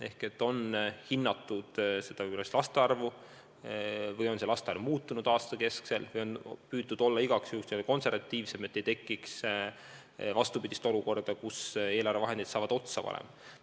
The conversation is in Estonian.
Ehk on hinnatud valesti laste arvu või on laste arv aastaga muutunud või on püütud igaks juhuks olla n-ö konservatiivsem, et ei tekiks vastupidist olukorda, kus eelarveraha saab arvatust varem otsa.